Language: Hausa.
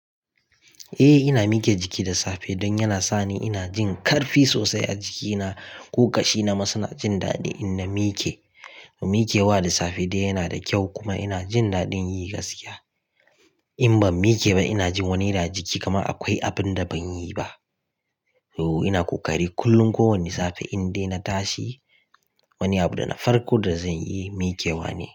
Eh ina mike jiki da safe don yana sani ina jin ƙarfi sosai a jikina. Ko ƙashi na ma suna jin daɗi in na mike. Mikewa da safe dai yana da kyau kuma ina jin daɗin yi gaskiya. In ban mike ba ina jin wani iri a jiki kaman akwai abun da ban yi ba. To ina ƙoƙari kullum kowane safe in dai na tashi wani abu da na farko da zan yi mikewa ne.